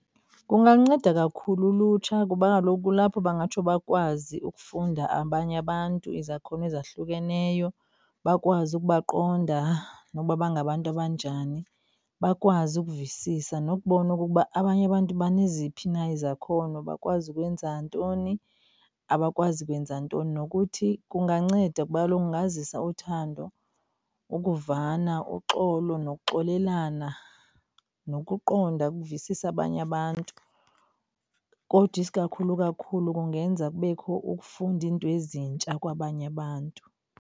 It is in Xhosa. Kunganceda kakhulu ulutsha kuba kaloku kulapho bangatsho bakwazi ukufunda abanye abantu izakhono ezahlukeneyo. Bakwazi ukubaqonda nokuba bangabantu abanjani. Bakwazi ukuvisisana nokubona okokuba abanye abantu baneziphi na izakhono, bakwazi ukwenza ntoni, abakwazi ukwenza ntoni. Nokuthi kunganceda kuba kaloku kungazisa uthando, ukuvana, uxolo nokuxolelana, nokuqonda uvisise abanye abantu. Kodwa isikakhulu kakhulu kungenza kubekho ukufunda izinto ezintsha kwabanye abantu.